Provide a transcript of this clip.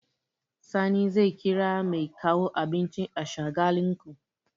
Sani zai kira mai kawo abinci a Shagalinku.